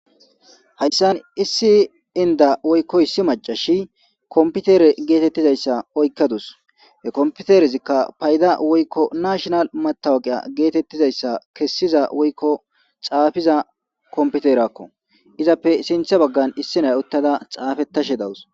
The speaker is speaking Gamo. Hayssani issi inda woykko issi macasiya komputere gidda issi oyiqa utasu .he kompiteresika paydda woykko nashinale matawukiya geetetetiza issa kesida woykko xaafida komputereko .izappe sintha baggan issi naya utada xafetashe de'awusu.